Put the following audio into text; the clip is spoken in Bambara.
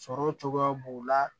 Sɔrɔ cogoya b'u la